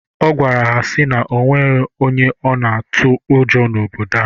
Ọ gwara ha sị na onwero onye ya na-atụ ụjọ n'obodo ha.